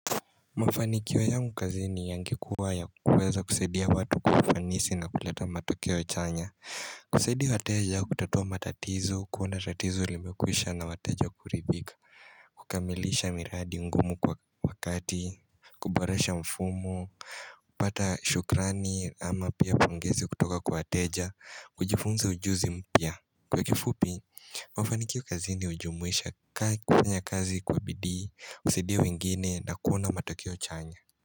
Mafanikio yangu kazini yangekuwa ya kuweza kusaidia watu kwa ufanisi na kuleta matokeo chanya kusaidia wateja au kutatua matatizo, kuona tatizo limekwisha na wateja kuridhika kukamilisha miradi ngumu kwa wakati, kuboresha mfumo pata shukrani ama pia pongezi kutoka kwa wateja, kujifunza ujuzi mpya Kwa kifupi mafanikio kazini hujumuisha kaa kufanya kazi kwa bidii usaidie wengine na kuona matokeo chanya.